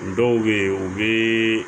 Dɔw bɛ yen u bɛ